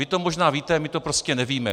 Vy to možná víte, my to prostě nevíme.